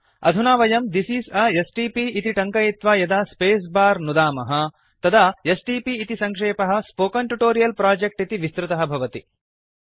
अधुना वयं this is a STP इति टङ्कयित्वा यदा स्पेस् बार नुदामः तदा एसटीपी इति सङ्क्षेपः स्पोकेन ट्यूटोरियल् प्रोजेक्ट् इति विस्तृतः भवति